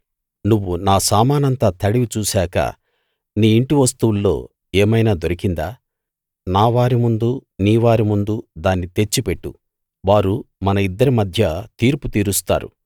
నువ్వు నా సామానంతా తడివి చూశాక నీ ఇంటి వస్తువుల్లో ఏమైనా దొరికిందా నావారి ముందూ నీవారి ముందూ దాన్ని తెచ్చి పెట్టు వారు మన ఇద్దరి మధ్య తీర్పు తీరుస్తారు